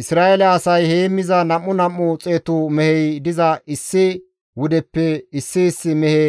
Isra7eele asay heemmiza nam7u nam7u xeetu mehey diza issi wudeppe issi issi mehe